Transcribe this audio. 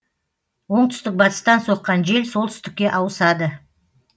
оңтүстік батыстан соққан жел солтүстікке ауысады